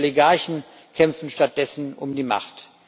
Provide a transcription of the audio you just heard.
Die Oligarchen kämpfen stattdessen um die Macht.